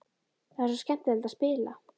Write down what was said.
Það er svo skemmtilegt að spila.